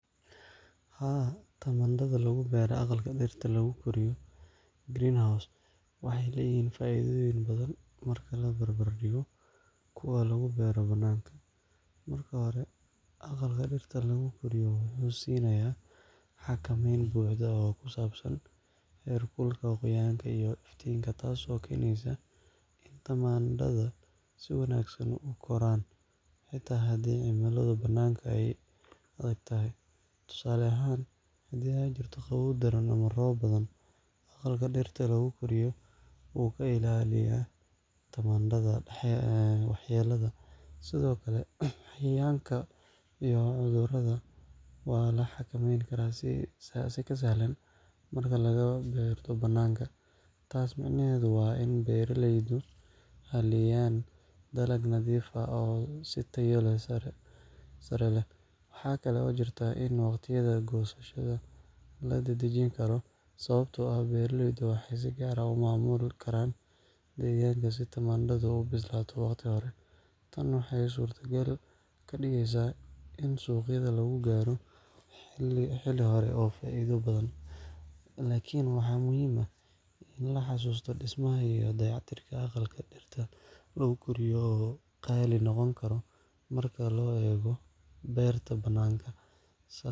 Haa, tamaandhada lagu beero aqalka dhirta lagu koriyo (greenhouse) waxay leeyihiin faa’iidooyin badan marka la barbardhigo kuwa lagu beero bannaanka. Marka hore, aqalka dhirta lagu koriyo wuxuu siinayaa xakameyn buuxda oo ku saabsan heerkulka, qoyaanka, iyo iftiinka, taas oo keenaysa in tamaandhada si wanaagsan u koraan, xitaa haddii cimiladu bannaanka ay adag tahay. Tusaale ahaan, haddii ay jirto qabow daran ama roob badan, aqalka dhirta lagu koriyo wuu ka ilaaliyaa tamaandhada waxyeelada. Sidoo kale, cayayaanka iyo cudurrada waa la xakameyn karaa si ka sahlan marka laga beerto bannaanka. Taas micnaheedu waa in beeralaydu helayaan dalag nadiif ah oo tayo sare leh. Waxaa kale oo jirta in waqtiyada goosashada la dedejin karo, sababtoo ah beeraleydu waxay si gaar ah u maamuli karaan deegaanka si tamaandhada u bislaato waqti hore. Tan waxay suurtagal ka dhigeysaa in suuqyada lagu gaaro xilli hore oo faa’iido badan laga helo. Laakiin waxaa muhiim ah in la xuso in dhismaha iyo dayactirka aqalka dhirta lagu koriyo uu qaali noqon karo marka loo eego beerta bannaanka